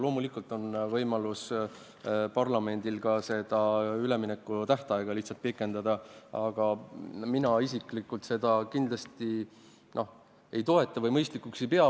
Loomulikult on parlamendil võimalik seda üleminekutähtaega ka lihtsalt pikendada, aga mina isiklikult seda kindlasti ei toeta ja mõistlikuks ei pea.